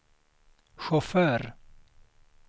chaufför